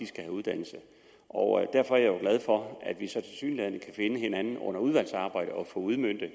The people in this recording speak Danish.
skal have uddannelse og derfor er jeg jo glad for at vi tilsyneladende kan finde hinanden under udvalgsarbejdet og få udmøntet